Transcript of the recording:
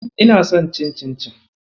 Ina son cin cincin.